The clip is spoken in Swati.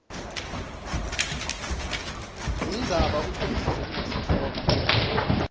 indzaba ucondzise kulesitfombe